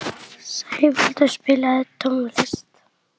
Sævaldur, spilaðu tónlist.